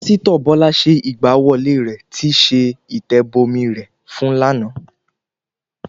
Pásítọ̀ Bọ́lá ṣe ìgbà wọlé rẹ̀ tíí ṣe ìtẹ̀bọmi rẹ̀ fún lánàá